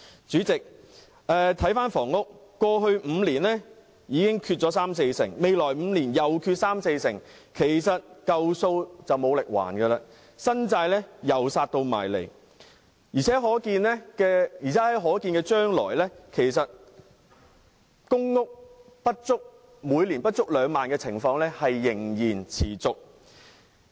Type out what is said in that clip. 主席，在房屋方面，過去5年的供應已短缺三四成，未來5年再短缺三四成，舊債無力償還，新債又再逼近，而且在可見的將來，公營房屋每年供應不足2萬戶的情況仍會持續。